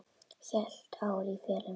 Heilt ár í felum.